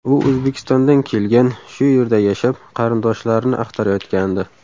U O‘zbekistondan kelgan, shu yerda yashab, qarindoshlarini axtarayotgandi.